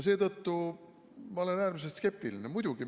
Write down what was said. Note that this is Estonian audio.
Seetõttu olen ma äärmiselt skeptiline.